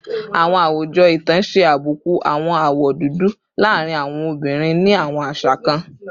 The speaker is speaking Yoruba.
Awọn awujọ itan ṣe abuku awọn awọ dudu laarin awọn obinrin ni awọn aṣa kan